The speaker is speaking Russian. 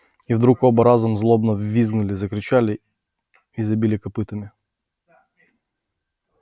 и вдруг оба разом злобно взвизгнули закричали и забили копытами